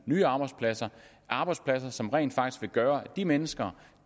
nye arbejdspladser arbejdspladser som rent faktisk vil gøre at de mennesker